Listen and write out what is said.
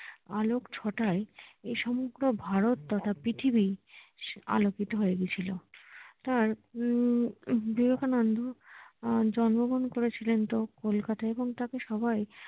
আলোকছটায় এ সমগ্র ভারত তথা পৃথিবী আলোকিত হয়ে গিয়েছিলো তার উম বিবেকানন্দ জন্মগ্রহণ করেছিলেন তা কলকাতায় এবং তাকে সবাই